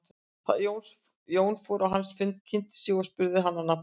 Jón fór á hans fund, kynnti sig og spurði hann að nafni.